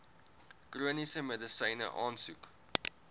chroniese medisyne aansoek